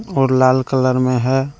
और लाल कलर में है।